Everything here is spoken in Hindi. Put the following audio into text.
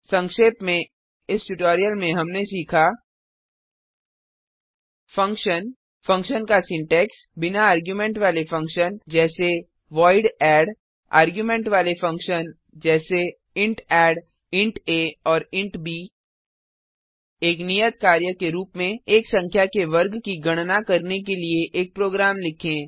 संक्षेप में इस ट्यूटोरियल में हमने सीखा फंक्शन फंक्शन का सिंटैक्स बिना आर्गुमेंट वाले फंक्शन जैसे वॉइड add आर्गुमेंट वाले फंक्शन जैसेint addइंट आ और इंट ब एक नियत कार्य के रूप में एक संख्या के वर्ग की गणना करने के लिए एक प्रोग्राम लिखें